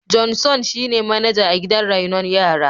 Johnson shine manaja a gidan raino yara.